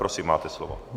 Prosím, máte slovo.